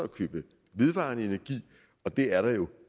vedvarende energi og det er der jo